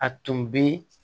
A tun bɛ